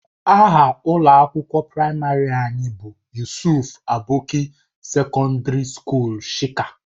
Aha ụlọ akwụkwọ praịmarị anyị bụ Yusuf Aboki Sekọndiri Sukuul Shika.